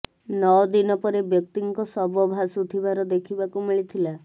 ନଅ ଦିନ ପରେ ବ୍ୟକ୍ତିଙ୍କ ଶବ ଭାଷୁଥିବାର ଦେଖିବାକୁ ମିଳିଥିଲା